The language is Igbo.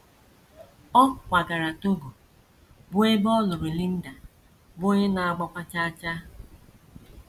* Ọ kwagara Togo, bụ́ ebe ọ lụrụ Linda, bụ́ onye na - agbakwa chaa chaa.